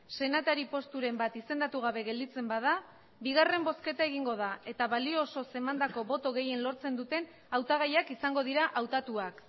senatari posturen bat izendatu gabe gelditzen bada bigarren bozketa egingo da eta balio osoz emandako boto gehien lortzen duten hautagaiak izango dira hautatuak